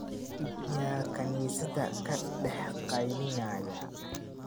Yaa kaniisadda ka dhex qaylinaya?